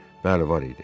Bəli, var idi.